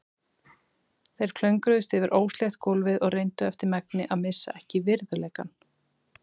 Þeir klöngruðust yfir óslétt gólfið og reyndu eftir megni að missa ekki virðuleikann.